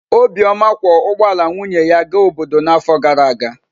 Obioma kwọ ụgbọ ala nwunye ya gaa obodo n’afọ gara aga.